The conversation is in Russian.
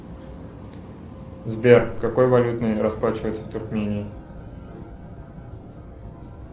сбер какой валютой расплачиваются в туркмении